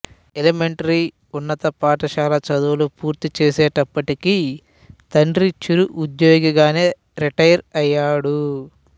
elementary ఉన్నత పాఠశాల చదువులు పూర్తి చేసేటప్పటికి తండ్రి చిరు ఉద్యోగిగానే రిటైర్ అయ్యాడు